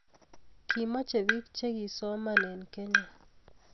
kimache pik che kisoman en kenya